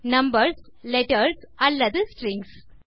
numbers letters அல்லது strings